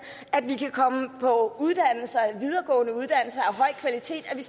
vi kan komme på uddannelser af høj kvalitet vi